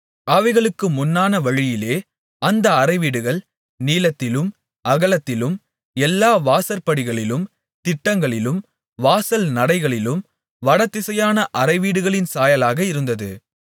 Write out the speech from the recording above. அவைகளுக்கு முன்னான வழியிலே அந்த அறைவீடுகள் நீளத்திலும் அகலத்திலும் எல்லா வாசற்படிகளிலும் திட்டங்களிலும் வாசல் நடைகளிலும் வடதிசையான அறைவீடுகளின் சாயலாக இருந்தது